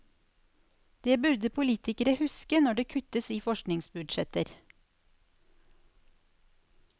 Det burde politikere huske når det kuttes i forskningsbudsjetter.